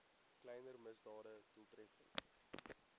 kleiner misdade doeltreffend